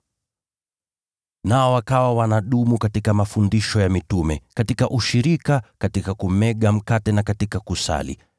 Nao wakawa wanadumu katika mafundisho ya mitume, katika ushirika, katika kumega mkate na katika kusali.